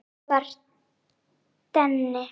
Svona var Denni.